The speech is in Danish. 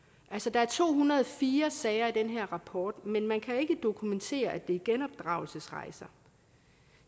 der er to hundrede og fire sager i den her rapport men man kan ikke dokumentere at det er genopdragelsesrejser